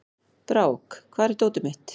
Brák, hvar er dótið mitt?